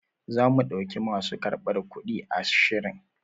Zamu ɗauki masu karbar kuɗi ashirin.